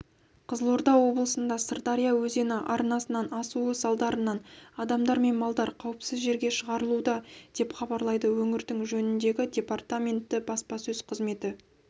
қызылорда облысында сырдария өзені арнасынан асуы салдарынан адамдар мен малдар қауіпсіз жерге шығарылуда деп хабарлайды өңірдің жөніндегі департаменті баспасөз қызметі